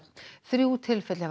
þrjú tilfelli hafa